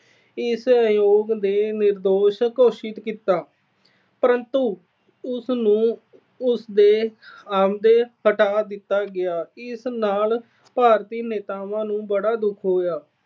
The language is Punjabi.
ਇਸ ਆਯੋਗ ਨੇ ਨਿਰਦੋਸ਼ ਘੋਸ਼ਿਤ ਕੀਤਾ ਪਰੰਤੂ ਉਸ ਨੂੰ ਉਸ ਦੇ ਅਹੁਦੇ ਤੋਂ ਹਟਾ ਦਿੱਤਾ ਗਿਆ। ਇਸ ਨਾਲ ਭਾਰਤੀ ਨੇਤਾਵਾਂ ਨੂੰ ਬੜਾ ਦੁੱਖ ਹੋਇਆ।